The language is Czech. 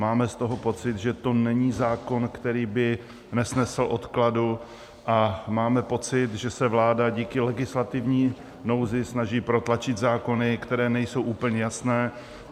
Máme z toho pocit, že to není zákon, který by nesnesl odkladu, a máme pocit, že se vláda díky legislativní nouzi snaží protlačit zákony, které nejsou úplně jasné.